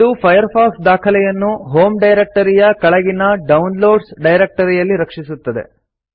ಇದು ಫೈರ್ಫಾಕ್ಸ್ ದಾಖಲೆಯನ್ನು ಹೋಮ್ ಡೈರೆಕ್ಟರಿಯ ಕೆಳಗಿನ ಡೌನ್ಲೋಡ್ಸ್ ಡೈರೆಕ್ಟರಿಯಲ್ಲಿ ರಕ್ಷಿಸುತ್ತದೆ